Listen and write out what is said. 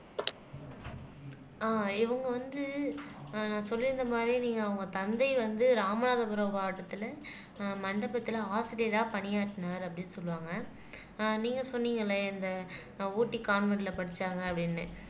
அஹ் இவங்க வந்து ஆஹ் நான் சொல்லியிருந்த மாதிரி நீங்க அவங்க தந்தை வந்து ராமநாதபுரம் மாவட்டத்துல ஆஹ் மண்டபத்துல ஆசிரியரா பணியாற்றினார் அப்படின்னு சொல்லுவாங்க ஆஹ் நீங்க சொன்னீங்கல்ல இந்த ஆஹ் ஊட்டி கான்வென்டுல படிச்சாங்க அப்படின்னு